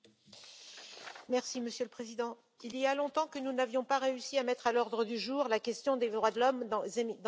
Monsieur le Président, il y a longtemps que nous n'avions pas réussi à mettre à l'ordre du jour la question des droits de l'homme dans les Émirats arabes unis.